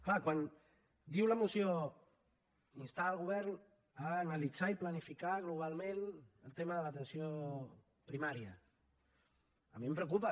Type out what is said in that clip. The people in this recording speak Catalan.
clar quan diu la moció instar el govern a analitzar i planificar globalment el tema de l’atenció primària a mi em preocupa